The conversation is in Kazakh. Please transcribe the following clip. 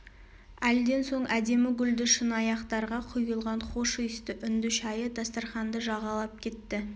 әлден соң әдемі гүлді шыны аяқтарға құйылған хош иісті үнді шәйі дастарқанды жағалап кетті